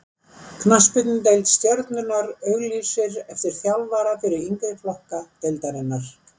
Knattspyrnudeild Stjörnunnar auglýsir eftir þjálfara fyrir yngri flokka deildarinnar.